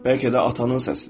Bəlkə də atanın səsidir.